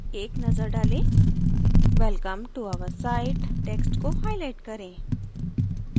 एक नजर डालें welcome to our site text को highlight करें